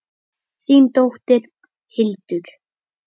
Þín dóttir Hildur.